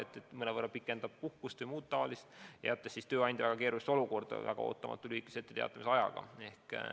Nii on võimalik mõnevõrra puhkust pikendada, jättes tööandja väga keerulisse olukorda väga ootamatu või lühikese etteteatamisajaga.